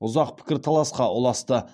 ұзақ пікірталасқа ұласты